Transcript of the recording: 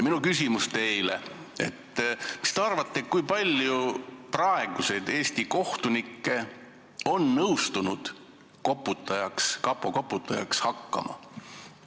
Minu küsimus teile: mis te arvate, kui paljud praegused Eesti kohtunikud on nõustunud kapo koputajaks hakkama?